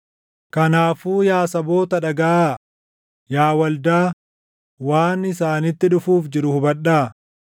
Kanaafuu yaa saboota dhagaʼaa; yaa waldaa, waan isaanitti dhufuuf jiru hubadhaa.